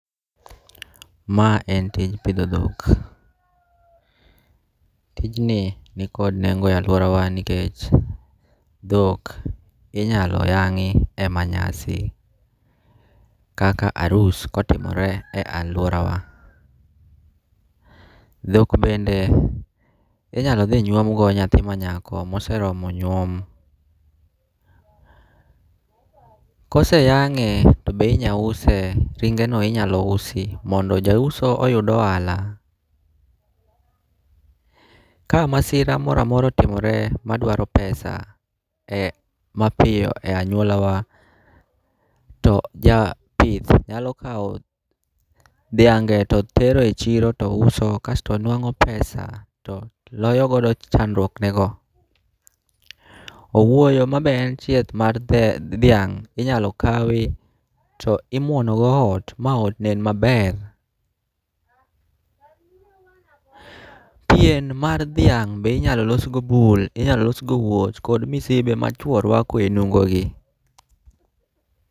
Mae en tij pidho dhok, tijni nikod nengo' e aluorawa ni kech dhok inyalo yangi' e manyasi, kaka arus kotimore e aluorawa, thok bende inyalo thi nyuomgo nyathi manyako moseromo nyuom, koseyange' to be inyalo use ringe'no be inyalo usi mondo jausono oyudo ohala, ka masira moro amora otimore ma dwaro pesa e mapiyo e anyuolawa , to japith nyalo kawo dhiange to tero e chiro to uso kasto nwango pesa kasto loyo chandwoknego. Owuoyo ma be en chieth mar thiang' inyalo kawi to imwonogo ot ma ot bed maber, pien mar thiang' be inyalo losgo bul inyalo losgo wuoch kod misibe ma chuo rwako e onungo'gi.